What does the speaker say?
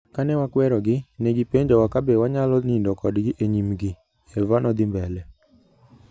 Kane wakwerogi, ne gipenjowa kabe wanyalo nindo kodgi e nyimgi". Eva nothi mbele